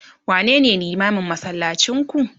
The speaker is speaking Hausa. wane ne limamin masallacin ku?